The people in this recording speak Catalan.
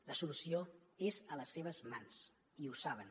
la solució és a les seves mans i ho saben